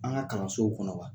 An ka kalansow kɔnɔ.